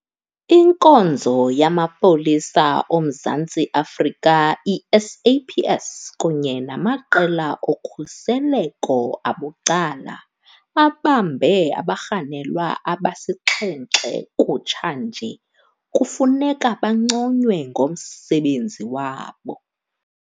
Inkonzo yamaPolisa oMzantsi Afrika, i-SAPS, kunye namaqela okhuseleko abucala abambe abarhanelwa abasixhenxe kutshanje kufuneka banconywe ngomsebenzi wabo.